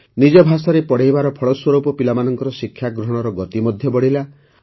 ନିଜ ଭାଷାରେ ପଢ଼ାଇବାର ଫଳସ୍ୱରୂପ ପିଲାମାନଙ୍କର ଶିକ୍ଷାଗ୍ରହଣର ଗତି ମଧ୍ୟ ବଢ଼ିଲା